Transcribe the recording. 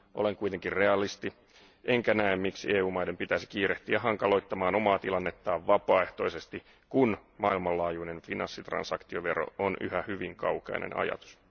Olen kuitenkin realisti, enkä näe miksi EU maiden pitäisi kiirehtiä hankaloittamaan omaa tilannettaan vapaaehtoisesti, kun maailmanlaajuinen finanssitransaktiovero on yhä hyvin kaukainen ajatus.